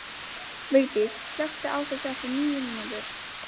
Vigdís, slökktu á þessu eftir níu mínútur.